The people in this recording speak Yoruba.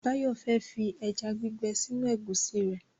Báyọ̀ fẹ́ fi ẹja gbígbẹ sínú ẹ̀gúsí rẹ̀